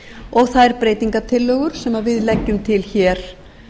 og þær breytingartillögur sem við leggjum til hér